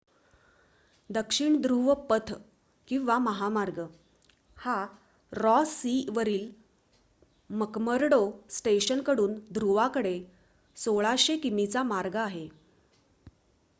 दक्षिण ध्रुव पथ किंवा महामार्ग हा रॉस सी वरील मकमर्डो स्टेशन कडून ध्रुवाकडे 1600 किमीचा मार्ग आहे